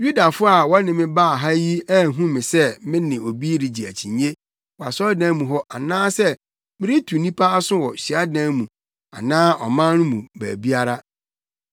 Yudafo a wɔde me baa ha yi anhu me sɛ me ne obi regye akyinnye wɔ asɔredan mu hɔ anaasɛ meretu nnipa aso wɔ hyiadan mu anaa ɔman no mu baabiara.